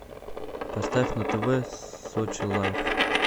поставь на тв сочи лайв